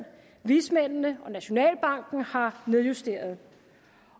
vismændene og nationalbanken har nedjusteret